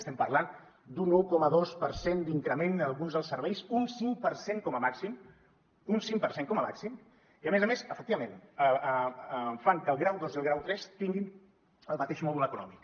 estem parlant d’un un coma dos per cent d’increment en alguns dels serveis un cinc per cent com a màxim un cinc per cent com a màxim i a més a més efectivament fan que el grau dos i el grau tres tinguin el mateix mòdul econòmic